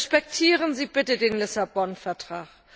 Respektieren Sie bitte den Lissabon Vertrag!